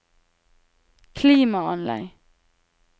klimaanlegg